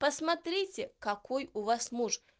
посмотрите какой у вас муж